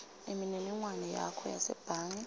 imininingwane yakho yasebhange